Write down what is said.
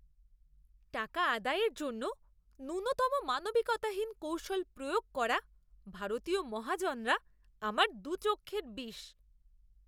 টাকা আদায়ের জন্য ন্যূনতম মানবিকতাহীন কৌশল প্রয়োগ করা ভারতীয় মহাজনরা আমার দু'চক্ষের বিষ।